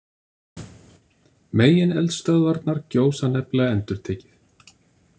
Megineldstöðvarnar gjósa nefnilega endurtekið.